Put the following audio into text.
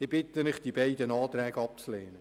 Ich bitte Sie, die beiden Anträge abzulehnen.